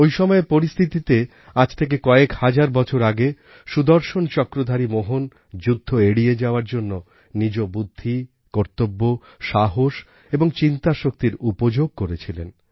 ঐ সময়ের পরিস্থিতিতে আজ থেকে কয়েক হাজার বছর আগে সুদর্শনচক্রধারী মোহন যুদ্ধ এড়িয়ে যাওয়ার জন্য নিজ বুদ্ধি কর্তব্য সাহস এবং চিন্তাশক্তির উপযোগ করেছিলেন